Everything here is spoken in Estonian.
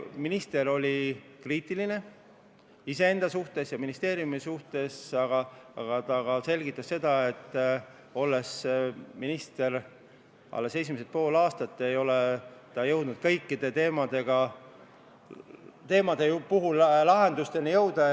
Minister oli kriitiline iseenda ja ministeeriumi suhtes, aga ta selgitas ka seda, et kuna ta on olnud minister alles esimesed pool aastat, siis ei ole ta suutnud kõikide teemade puhul lahendusteni jõuda.